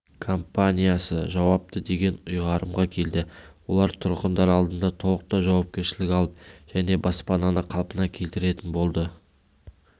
компаниясыжауапты деген ұйғарымға келді олар тұрғындар алдында толықтай жауапкершілік алып және баспананы қалпына келтіретін болады